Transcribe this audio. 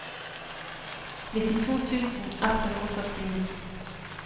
nittito tusen ett hundre og førtini